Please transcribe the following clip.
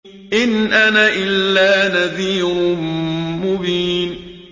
إِنْ أَنَا إِلَّا نَذِيرٌ مُّبِينٌ